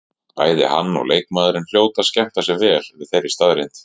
Bæði hann og leikmaðurinn hljóta að skemmta sér vel yfir þeirri staðreynd.